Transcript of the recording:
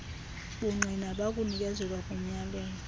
bungqina bakunikezelwa komyalelo